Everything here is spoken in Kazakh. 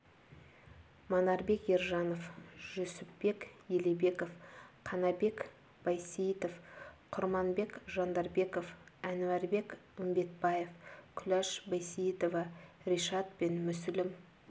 манарбек ержанов жүсіпбек елебеков қанабек байсейітов құрманбек жандарбеков әнуарбек үмбетбаев күләш байсейітова ришат пен мүсілім